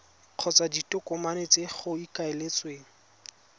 kgotsa ditokomane tse go ikaeletsweng